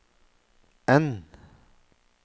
N